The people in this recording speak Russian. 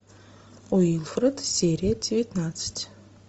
уилфред серия девятнадцать